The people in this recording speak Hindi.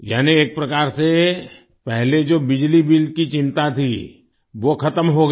यानी एक प्रकार से पहले जो बिजली बिल की चिंता थी वो खत्म हो गई